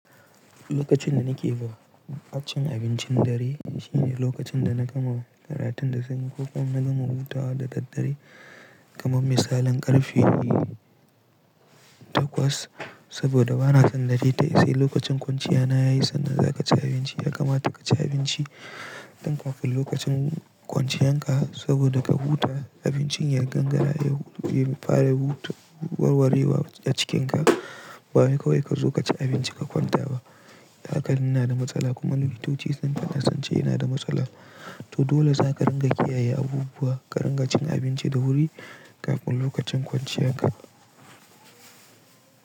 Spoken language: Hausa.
Lokacin da nake bu-baccen abincin dare shine lokacin da na gama karatun da sanyi ko kuma na gama hutawa da daddare kamar misalin karfe takwas saboda bana son dare tayi sai lokacin kwanciya na yayi sannan za ka ci abinci ya kamata ka ci abinci tun kafin lokacin kwanciyan ka saboda ka huta abincin ya gangara ya fara warwarewa a cikinka ba wai kawai ka zo ka ci abinci ka kwanta ba. Hakan yana da matsala kuma likitoci sun faɗa sunce yana da matsala to dole za ka ringa kiyaye abubuwa ka ringa cin abinci da wuri kafin lokacin kwanciyan ka.